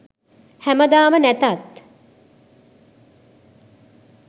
හැමදාම නැතත්